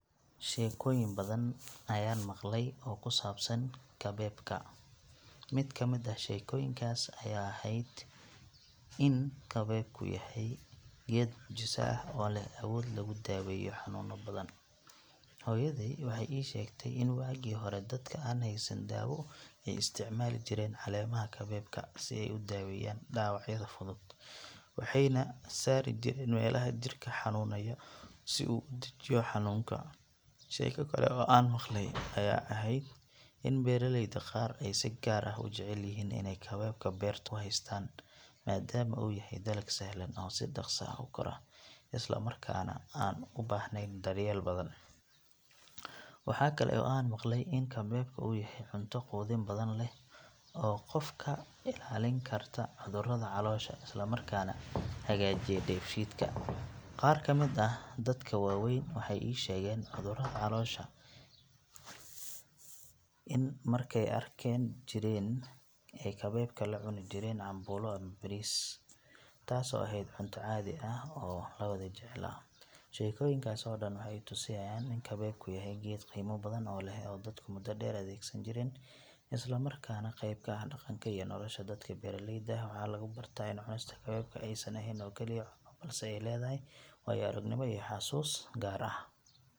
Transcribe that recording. Sheekooyin badan ayaan maqlay oo ku saabsan kabeebka. Mid ka mid ah sheekooyinkaas ayaa ahayd in kabeebku yahay geed mucjiso ah oo leh awood lagu daweeyo xanuuno badan. Hooyaday waxay ii sheegtay in waagii hore dadka aan haysan dawo ay isticmaali jireen caleemaha kabeebka si ay u daaweeyaan dhaawacyada fudud, waxayna saarijireen meelaha jirka ka xanuunaya si uu u dejiyo xanuunka. Sheeko kale oo aan maqlay ayaa ahayd in beeraleyda qaar ay si gaar ah u jecel yihiin inay kabeebka beertooda ku haystaan maadaama uu yahay dalag sahlan oo si dhaqso ah u kora isla markaana aan u baahnayn daryeel badan. Waxaa kale oo aan maqlay in kabeebka uu yahay cunto quudin badan leh oo qofka ka ilaalin karta cudurrada caloosha isla markaana hagaajiya dheefshiidka. Qaar ka mid ah dadka waaweyn waxay ii sheegeen in markay yaraa jireen ay kabeebka la cunijireen cambuulo ama bariis, taasoo ahayd cunto caadi ah oo la wada jeclaa. Sheekooyinkaas oo dhan waxay i tusayaan in kabeebku yahay geed qiimo badan leh oo dadku muddo dheer adeegsan jireen, isla markaana qayb ka ah dhaqanka iyo nolosha dadka beeraleyda ah. Waxaa laga bartaa in cunista kabeebku aysan ahayn oo kaliya cunno, balse ay leedahay waayo-aragnimo iyo xasuus gaar ah.